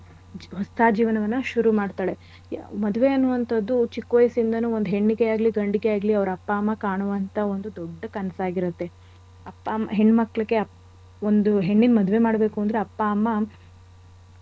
ಹೊಸ ಜೀವನವನ್ನ ಶುರು ಮಾಡ್ತಾಳೆ. ಮದ್ವೆ ಅನ್ನುವಂಥದ್ದು ಚಿಕ್ ವಯಸ್ಸಿಂದಾನು ಒಂದ್ ಹೆಣ್ಣಿಗೆ ಆಗ್ಲಿ ಗಂಡಿಗೆ ಆಗ್ಲಿ ಅವ್ರ್ ಅಪ್ಪ ಅಮ್ಮ ಕಾಣುವಂಥ ಒಂದು ದೊಡ್ಡ ಕನ್ಸಾಗಿರತ್ತೆ. ಅಪ್ಪ ಅಮ್ಮ ಹೆಣ್ ಮಕ್ಳಿಗೆ ಒಂದ್ ಹೆಣ್ಣಿನ್ ಮದ್ವೆ ಮಾಡ್ಬೇಕು ಅಂದ್ರೆ ಅಪ್ಪ ಅಮ್ಮ.